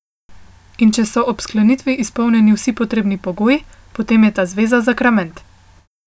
In če so ob sklenitvi izpolnjeni vsi potrebni pogoji, potem je ta zveza zakrament.